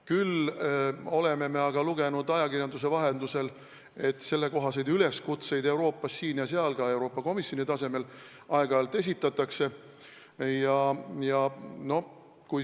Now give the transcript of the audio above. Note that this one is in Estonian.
Küll oleme aga lugenud ajakirjandusest, et sellekohaseid üleskutseid Euroopas siin ja seal, ka Euroopa Komisjoni tasemel, aeg-ajalt esitatakse.